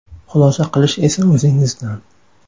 Xulosa qilish esa o‘zingizdan.